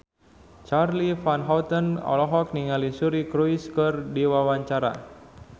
Charly Van Houten olohok ningali Suri Cruise keur diwawancara